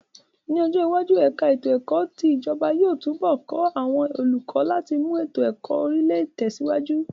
Ní ọjọ iwájú, ẹ̀ka ètò ẹ̀kọ́ ti ijọba yóò túnbọ̀ ká àwọn olùkọ láti mú ètò ẹ̀kọ́ Orílẹ̀ tẹsiwaju